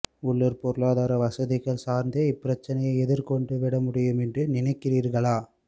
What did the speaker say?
உள்ளூர் பொருளாதாரப் வசதிகள் சார்ந்தே இப்பிரச்சினையை எதிர் கொண்டு விட முடியும் என்று நினைக்கிறீர்களா